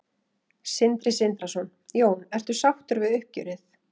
Sindri Sindrason: Jón ertu sáttur við uppgjörið?